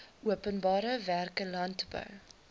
openbare werke landbou